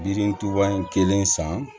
Yiri tuba kelen san